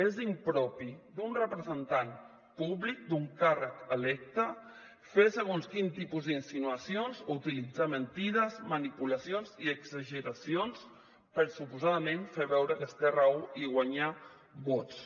és impropi d’un representant públic d’un càrrec electe fer segons quin tipus insinuacions o utilitzar mentides manipulacions i exageracions per suposadament fer veure que es té raó i guanyar vots